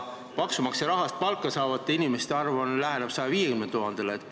Maksumaksja raha eest palka saavate inimeste arv läheneb 150 000-le.